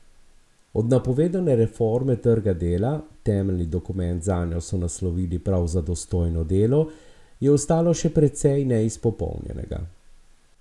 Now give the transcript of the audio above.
Od napovedovane reforme trga dela, temeljni dokument zanjo so naslovili prav Za dostojno delo, je ostalo še precej neizpolnjenega.